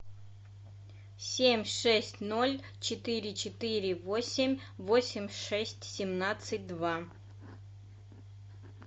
семь шесть ноль четыре четыре восемь восемь шесть семнадцать два